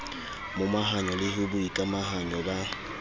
momahanyo le ho boikamahanyo ba